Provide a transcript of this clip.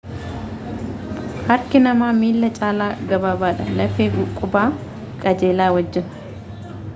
harki namaa miila caala gabaabaadha lafee qubaa qajeelaa wajjiin